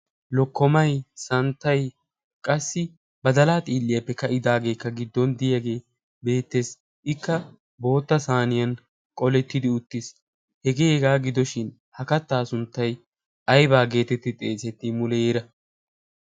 lokkomai santtai qassi ba dalaa xiilliyaappe ka'idaageekka giddon diyaagee beettees ikka bootta saaniyan qolettidi uttiis hegeehegaa gidoshin ha kattaa sunttai aibaa geetetti xeesetti muleera?